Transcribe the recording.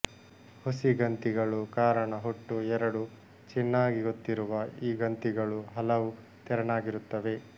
ಹುಸಿ ಗಂತಿಗಳು ಕಾರಣ ಹುಟ್ಟು ಎರಡೂ ಚಿನ್ನಾಗಿ ಗೊತ್ತಿರುವ ಈ ಗಂತಿಗಳು ಹಲವು ತೆರನಾಗಿರುತ್ತವೆ